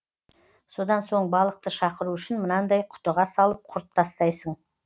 содан соң балықты шақыру үшін мынандай құтыға салып құрт тастайсың